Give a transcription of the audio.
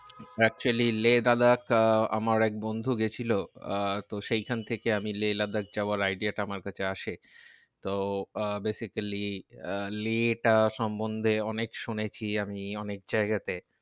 Actually Leh Ladakh আহ আমার এক বন্ধু গেছিলো। আহ তো সেখান থেকে আমি লেহ লাদাখ যাওয়ার idea টা আমার কাছে আসে। তো আহ basically আহ লেহ টা সন্বন্ধে অনেক শুনেছি আমি অনেক জায়গাতে।